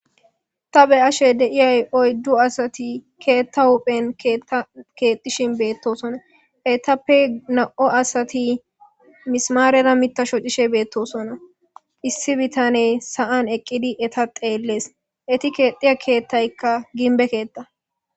Ta be ashe deiyay oyddu asati keetta huphen kakeetishin beettosona eytappe na'o asati misamaarera mita sho cishe beettosona issi bitane sa'an eqqidi eta xeellees eti keexiya keettaykka ginbe keetta.